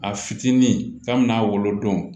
A fitinin kabini a wolo don